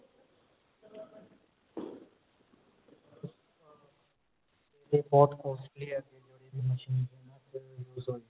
ਇਹਦੇ ਬਹੁਤ costly ਹੈ ਜਿਹੜੇ ਇਹਨਾ ਚ use ਹੋਏ